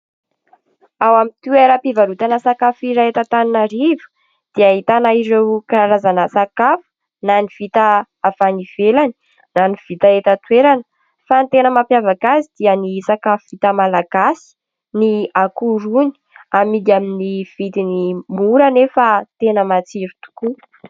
Ao amin'ny toeram-pivarotana sakafo iray eto Antananarivo dia ahitana ireo karazana sakafo na ny vita avy any ivelany na ny vita eto an-toerana fa ny tena mampiavaka azy dia ny sakafo vita Malagasy, ny akoho rony amidy amin'ny vidiny mora anefa tena matsiro tokoa.